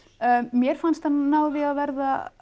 mér fannst hann ná því að verða